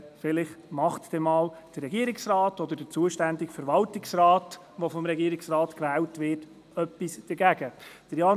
So wird der Regierungsrat oder der zuständige Verwaltungsrat, der vom Regierungsrat gewählt wird, vielleicht einmal etwas dagegen unternehmen.